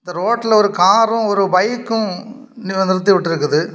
இந்த ரோட்ல ஒரு காரும் ஒரு பைக்கும் நி நிறுத்தி உட்டுருக்குது.